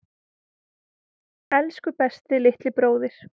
Elsku besti litli bróðir.